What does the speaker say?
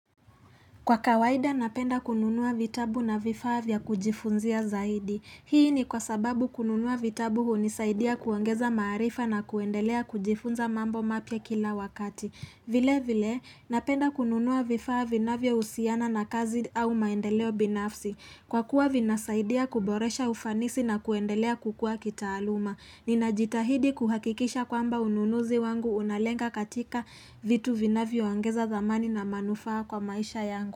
Kwa kawaida napenda kununua vitabu na vifaa vya kujifunzia zaidi Hii ni kwa sababu kununua vitabu hunisaidia kuongeza maarifa na kuendelea kujifunza mambo mapya kila wakati vile vile napenda kununua vifaa vinavyo husiana na kazi au maendeleo binafsi Kwa kuwa vinasaidia kuboresha ufanisi na kuendelea kukua kitaaluma Nina jitahidi kuhakikisha kwamba ununuzi wangu unalenga katika vitu vinavyo ongeza thamani na manufaa kwa maisha yangu.